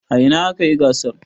A ina aka yi gasar?